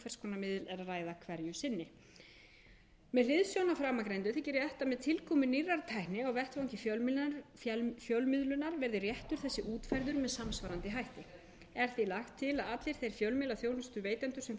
hverju sinni með hliðsjón af framangreindu þykir rétt að með tilkomu nýrrar tækni á vettvangi fjölmiðlunar verði réttur þessi útfærður með samsvarandi hætti er því lagt til að allir þeir fjölmiðlaþjónustuveitendur sem frumvarpið